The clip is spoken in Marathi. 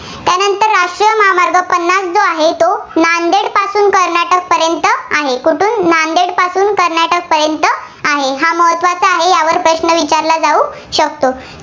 जो आहे, तो नांदेडपासून कर्नाटकपर्यंत आहे. कुठून? नांदेडपासून कर्नाटकपर्यंत आहे. हा महत्त्वाचा आहे, यावर प्रश्न विचारला जाऊ शकतो.